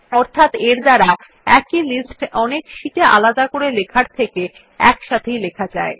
অর্থাৎ এর দ্বারা একই লিস্ট অনেক শিট আলাদা করে লেখার থেকে একসাথেই লেখা যায়